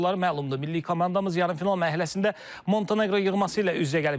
Milli komandamız yarımfinal mərhələsində Monteneqro yığması ilə üz-üzə gəlib.